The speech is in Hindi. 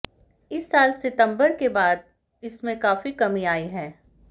इस साल सितंबर के बाद से इसमें काफी कमी आई है